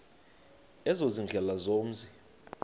ezo ziindlela zomzi